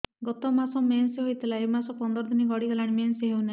ଗତ ମାସ ମେନ୍ସ ହେଇଥିଲା ଏ ମାସ ପନ୍ଦର ଦିନ ଗଡିଗଲାଣି ମେନ୍ସ ହେଉନାହିଁ